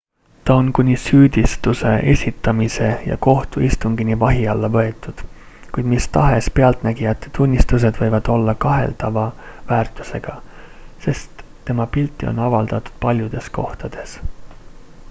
ta on kuni süüdistuse esitamise ja kohtuistungini vahi alla võetud kuid mis tahes pealtnägijate tunnistused võivad olla kaheldava väärtusega sest tema pilti on avaldatud paljudes kohtades